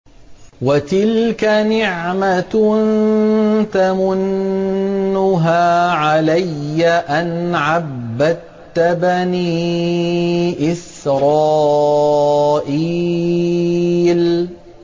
وَتِلْكَ نِعْمَةٌ تَمُنُّهَا عَلَيَّ أَنْ عَبَّدتَّ بَنِي إِسْرَائِيلَ